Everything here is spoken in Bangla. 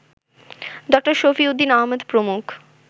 ড. শফিউদ্দিন আহমদ প্রমুখ